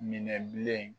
Minɛ bilen